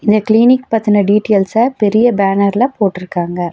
இந்த கிளினிக் பத்தின டீட்டியல்ஸ பெரிய பேனர்ல போட்டுருக்காங்க.